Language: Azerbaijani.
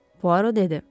Puaro dedi.